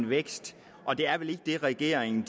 vækst og det er vel ikke det regeringen